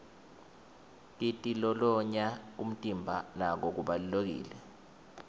kitilolonya umtimba nako kubalulekile